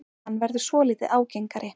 Hann verður svolítið ágengari.